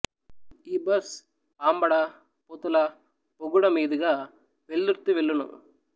ఈ బస్ పాంబడ పొతుల బొగుడ మీదుగా వెల్దుర్తి వెళ్ళును